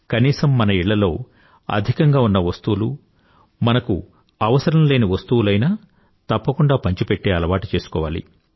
కనీసం మన ఇళ్ళల్లో అధికంగా ఉన్న వస్తువులు మనకు అవసరం లేని వస్తువులు అయినా తప్పకుండా పంచిపెట్టే అలవాటు చేసుకోవాలి